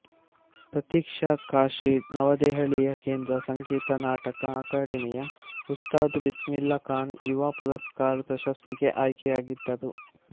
ಪ್ರತೀಕ್ಷಾ ಕಾಶಿ ನವದೆಹಲಿಯ ಕೇಂದ್ರ ಸಂಗೀತ ನಾಟಕ ಅಕಾಡೆಮಿಯ ಉಸ್ತಾದ್ ಬಿಸ್ಮಿಲ್ಲಾಃ ಖಾನ್ ಯುವ ಪುರಸ್ಕಾರ್ ಪ್ರಶಸ್ತಿಗೆ ಆಯ್ಕೆಯಾಗಿದ್ದರು